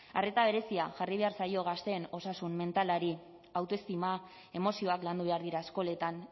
arreta berezia jarri behar zaio gazteen osasun mentalari autoestima emozioak landu behar dira eskoletan